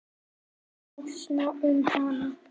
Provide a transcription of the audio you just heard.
Stínu, njósna um hana.